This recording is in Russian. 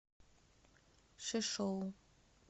шишоу